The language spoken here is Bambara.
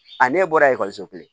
A ne bɔra ekɔliso kelen